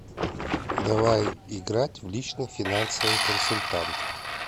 давай играть в личный финансовый консультант